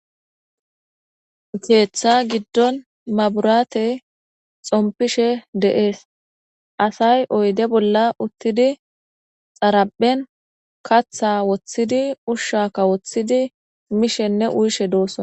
Keeththa giddon mabirate xommpishe de's assay oyde bolla uuthidi xaraphezan kaatha woothidi uushshaka woothidi mishshene uuyishshe doosona